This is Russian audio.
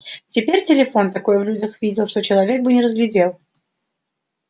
теперь телефон такое в людях видел что человек бы не разглядел